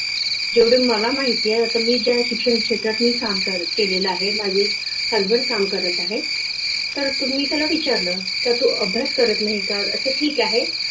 जेवढ मला माहितेय आता मी काय शिक्षण क्षेत्रातही काम केलेल आहे माझे हजबंड काम करत आहे तर मी त्याला विचारल का तु अभ्यास करता नाही का अच्छा ठिक आहे